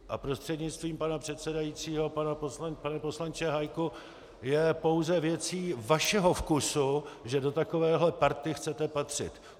A prostřednictvím pana předsedajícího, pane poslanče Hájku, je pouze věcí vašeho vkusu, že do takovéhle party chcete patřit.